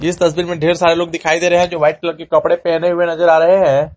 इस तस्वीर में ढेर सारे लोग दिखाई आ रहे हैं जो वाइट कलर के कपड़े पहने हुए नजर आ रहे हैं।